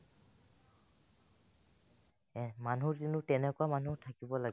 এহ্, মানুহ কিন্তু তেনেকুৱা মানুহ থাকিব লাগে